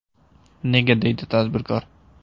Nega?” deydi tadbirkor.